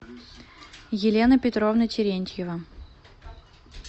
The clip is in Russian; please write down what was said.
елена петровна терентьева